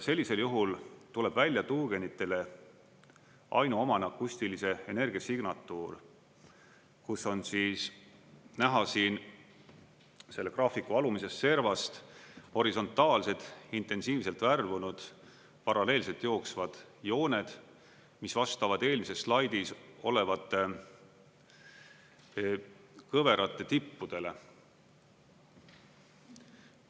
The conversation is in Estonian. Sellisel juhul tuleb välja tuugenitele ainuomane akustilise energia signatuur, kus on siis näha siin selle graafiku alumises servas horisontaalsed intensiivselt värvunud paralleelselt jooksvad jooned, mis vastavad eelmises slaidis olevate kõverate tippudele.